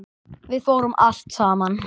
Við fórum allt saman.